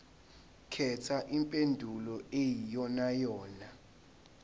khetha impendulo eyiyonayona